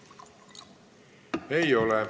Ei ole.